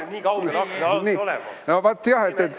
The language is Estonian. Ma ei ole harjunud akna alt nii kaugel olema.